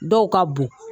Dɔw ka bon